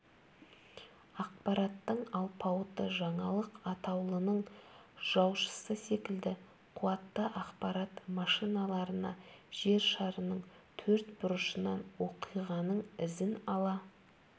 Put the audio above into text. ақпараттың алпауыты жаңалық атаулының жаушысы секілді қуатты ақпарат машиналарына жер шарының төрт бұрышынан оқиғаның ізін ала